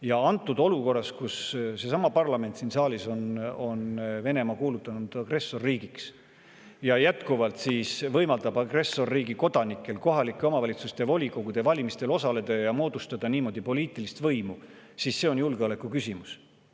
Ja antud olukorras, kus seesama parlament, kes on siin saalis kuulutanud Venemaa agressorriigiks, jätkuvalt võimaldab agressorriigi kodanikel kohalike omavalitsuste volikogude valimistel osaleda ja moodustada niimoodi poliitilist võimu, see on julgeolekuküsimus.